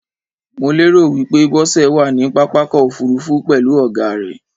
Mo lérò wípé Bósẹ̀ wàní pápákọ̀ ofúrufú pèlú ògá rẹ̀